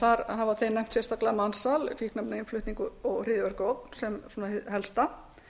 þar hafa þeir nefnt sérstaklega mansal fíkniefnainnflutning og hryðjuverkaógn sem hið helsta